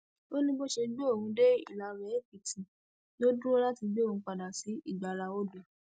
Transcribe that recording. ó ní bó ṣe gbé òun dé ìlàwéèkìtì ló dúró láti gbé òun padà sí ìgbáraodò